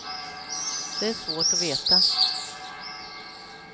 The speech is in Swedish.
Det är svårt att veta.